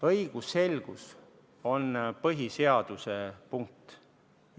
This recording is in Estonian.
Õigusselgus on põhiseaduse punkt.